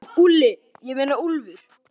Veistu það, Úlli, ég meina Úlfur.